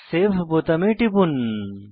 save বোতামে টিপুন